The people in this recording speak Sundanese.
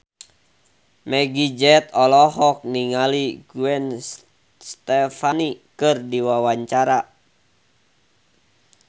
Meggie Z olohok ningali Gwen Stefani keur diwawancara